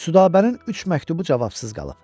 Südabənin üç məktubu cavabsız qalıb.